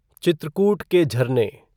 चित्रकूट के झरने